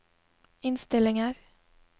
innstillinger